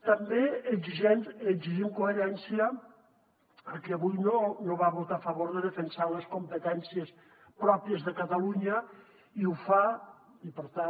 també exigim coherència a qui avui no va votar a favor de defensar les competències pròpies de catalunya i per tant